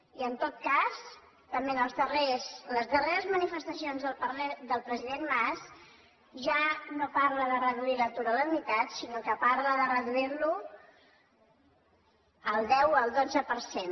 i en tot cas també en les darreres manifestacions del president mas ja no parla de reduir l’atur a la meitat sinó que parla de reduir lo al deu o al dotze per cent